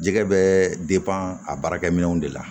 Jɛgɛ bɛ a baarakɛminɛnw de la